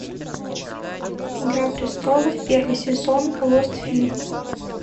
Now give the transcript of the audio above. игра престолов первый сезон лост фильм